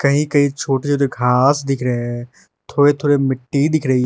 कही कही छोटे छोटे घास दिख रहे है थोड़े थोड़े मिट्टी दिख रही।